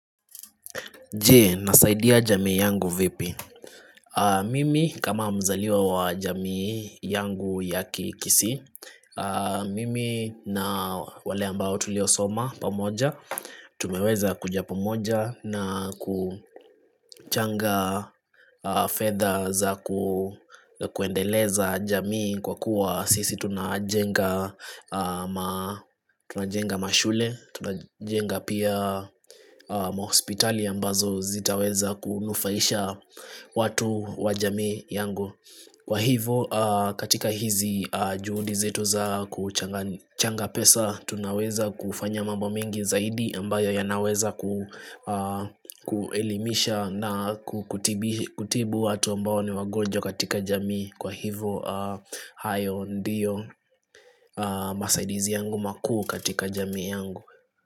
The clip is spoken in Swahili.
Je, nasaidia jamii yangu vipi. Mimi kama mzaliwa wa jamii yangu yaki kikisii. Mimi na wale ambao tuliosoma pamoja. Tumeweza kuja pamoja na kuchanga fedha za ku kuendeleza jamii kwa kuwa sisi tunajenga ma tunajenga mashule. Tunajenga pia mahospitali ambazo zitaweza kunufaisha watu wa jamii yangu Kwa hivo katika hizi juhudi zetu za kuchanga kuchanga pesa Tunaweza kufanya mambo mengi zaidi ambayo yanaweza kuelimisha na kutibu watu ambao ni wagonjwa katika jamii Kwa hivo hayo ndiyo masaidizi yangu makuu katika jamii yangu.